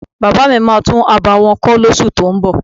Bàbá mi máa tún abà wọn kọ́ lóṣù tó ún bọ̀.máà ń